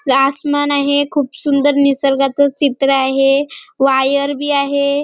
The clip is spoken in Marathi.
आसमान आहे खुप सुंदर निसर्गाच चित्र आहे वायर भी आहे.